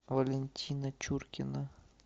валентина чуркина